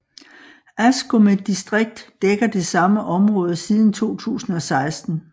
Askome distrikt dækker det samme område siden 2016